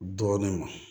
Dɔɔnin ma